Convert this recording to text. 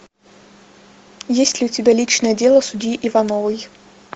есть ли у тебя личное дело судьи ивановой